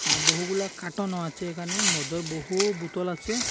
আঃ বহুগুলা খাটনও আছে এখানে মদের বহু বোতল আছে।